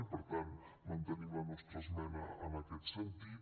i per tant mantenim la nostra esmena en aquest sentit